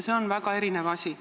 Need on väga erinevad asjad.